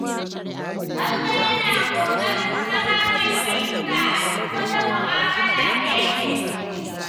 Garba yana kokarin zama mai fahimta a duk wata mu'amala da yake ciki.